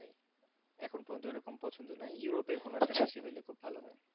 এখন পর্যন্ত ওরকম পছন্দ নয় ইউরোপের কোন একটা দেশে হইলে খুব ভালো হয়